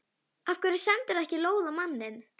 Af hverju sendirðu ekki lóð á manninn?